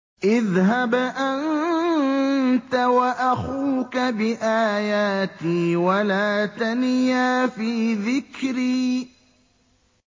اذْهَبْ أَنتَ وَأَخُوكَ بِآيَاتِي وَلَا تَنِيَا فِي ذِكْرِي